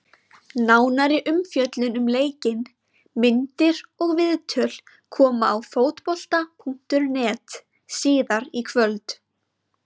Nánari umfjöllun um leikinn, myndir og viðtöl koma á Fótbolta.net síðar í kvöld.